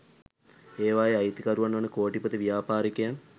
ඒවායේ අයිතිකරුවන් වන කෝටිපති ව්‍යාපාරිකයන්